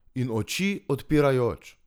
In oči odpirajoč!